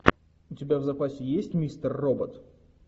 у тебя в запасе есть мистер робот